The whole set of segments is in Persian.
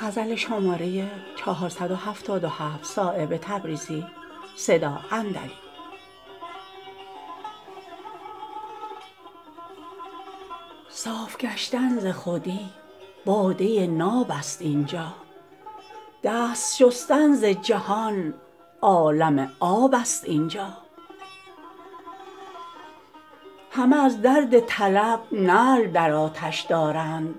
صاف گشتن ز خودی باده ناب است اینجا دست شستن ز جهان عالم آب است اینجا همه از درد طلب نعل در آتش دارند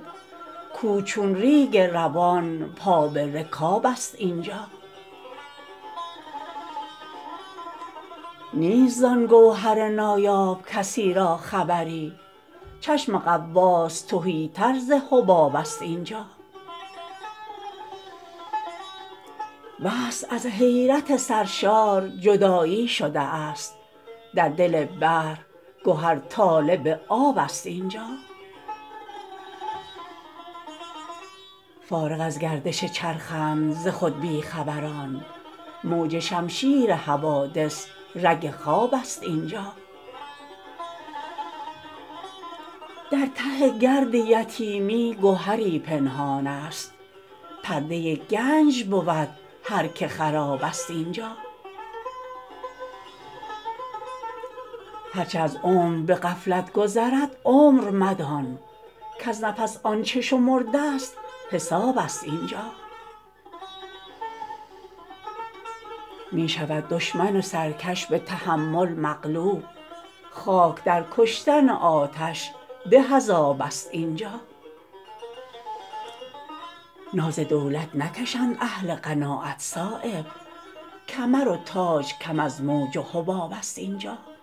کوه چون ریگ روان پا به رکاب است اینجا نیست زان گوهر نایاب کسی را خبری چشم غواص تهی تر ز حباب است اینجا وصل از حیرت سرشار جدایی شده است در دل بحر گهر طالب آب است اینجا فارغ از گردش چرخند ز خود بی خبران موج شمشیر حوادث رگ خواب است اینجا در ته گرد یتیمی گهری پنهان هست پرده گنج بود هر که خراب است اینجا هر چه از عمر به غفلت گذرد عمر مدان کز نفس آنچه شمرده است حساب است اینجا می شود دشمن سرکش به تحمل مغلوب خاک در کشتن آتش به از آب است اینجا ناز دولت نکشند اهل قناعت صایب کمر و تاج کم از موج و حباب است اینجا